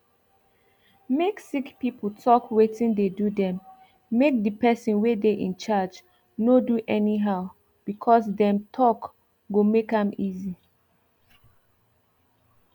make sick people talk wetin dey do themmake the person wey dey incharge no do anyhow because them talkgo make am easy